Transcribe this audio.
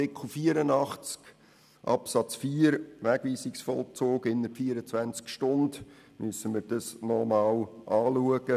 Bei Artikel 84 Absatz 4, Wegweisungsvollzug innert 24 Stunden, müssen wir es nochmals prüfen.